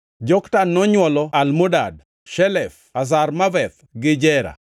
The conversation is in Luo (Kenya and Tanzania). Joktan nonywolo Almodad, Shelef, Hazarmaveth, gi Jera,